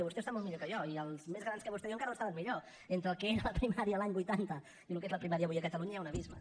vostè ho sap molt millor que jo i els més grans que vostè i jo encara ho saben millor entre el que era la primària l’any vuitanta i el que és la primària avui a catalunya hi ha un abisme